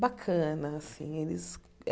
bacana assim eles.